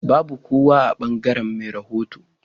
Babu kowa a bangaren me rahoto.